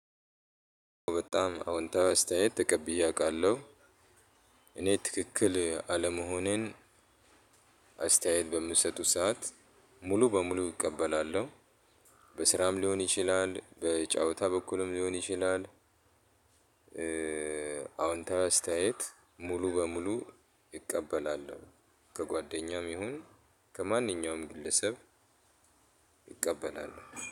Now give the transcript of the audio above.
በጣም አዎንታዊ አስተያየት ተቀብዬ አውቃለሁ እኔ ትክክል አለመሆኔን አስተያየት በምትሰጡት ሰዓት ሙሉ በሙሉ እቀበላለሁ። በስራም ሊሆን ይችላል በጨዋታ በኩልም ሊሆን ይችላል። አዎንታዊ አስተያየት ሙሉ በሙሉ እቀበላለሁ። ከጓደኛም ይሁን ከማንኛውም ግለሰብ እቀበላለሁ